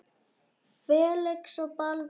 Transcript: Felix og Baldur.